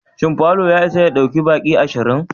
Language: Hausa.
Shin falo ya isa ya ɗauki baki ashirin?